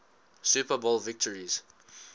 super bowl victories